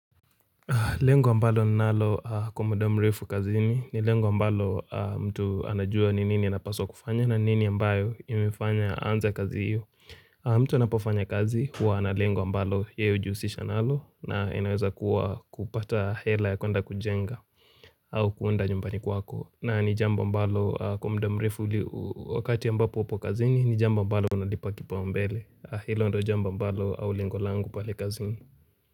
Lengo ambalo nalo kwa mda mrefu kazini ni lengo ambalo mtu anajua ni nini anapaswa kufanya na nini ambayo imefanya anza kazi hiyo. Mtu anapofanya kazi huwa na lengo ambalo yeye hujuhusisha nalo na inaweza kuwa kupata hela ya kuenda kujenga au kuunda nyumbani kwako. Na ni jambo ambalo kwa mda mrefu wakati ya ambapo upo kazini ni jambo ambalo unalipa kipaumbele. Hilo ndo jamba ambalo au lengo langu pale kazini.